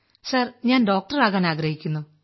sir ഞാൻ doctor ആകാൻ ആഗ്രഹിക്കുന്നു